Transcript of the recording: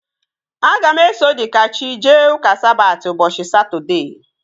Aga m eso Dikachi jee ụka Sabati ụbọchị Satọdee